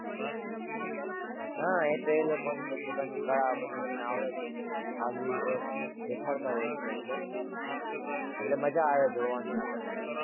હાં એ તો એ લોકો ની પોતપોતાની કળા, પોતપોતાની આવડત, આગવી ઓળખ દેખાડતા હોય છે અંદર, એટલે મજા આવે જોવાની આપણને.